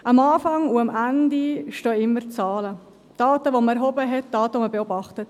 Am Anfang und am Ende stehen immer Zahlen: Daten, die man erhoben hat, Daten, die man beobachtet.